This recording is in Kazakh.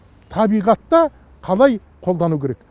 табиғатта қалай қолдану керек